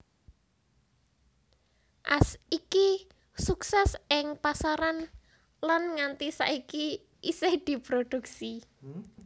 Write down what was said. As iki suksès ing pasaran lan nganti saiki isih diproduksi